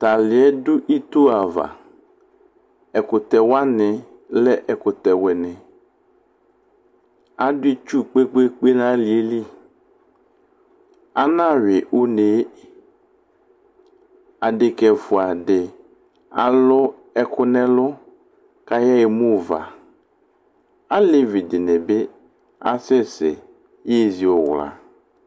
Tʋ alɩ yɛ dʋ ito ava Ɛkʋtɛ wanɩ lɛ ɛkʋtɛwɩnɩ Adʋ itsu kpe-kpe-kpe nʋ alɩ yɛ li Anayʋɩ une yɛ Adekǝ ɛfʋa dɩ alʋ ɛkʋ nʋ ɛlʋ kʋ ayaɣa emu ʋva Alevi dɩnɩ bɩ asɛsɛ yezi ʋwla